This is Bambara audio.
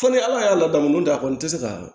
Fo ni ala y'a ladamu de a kɔni tɛ se ka